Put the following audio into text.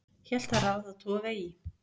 hélt það ráð að toga í